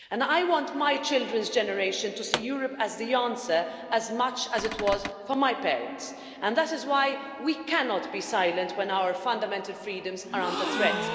I want my children's generation to see Europe as the answer as much as it was for my parents and that is why we cannot be silent when our fundamental freedoms are under threat.